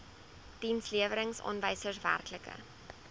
dienslewerings aanwysers werklike